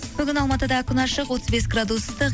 бүгін алматыда күн ашық отыз бес градус ыстық